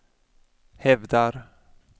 hävdar